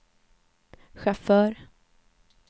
chaufför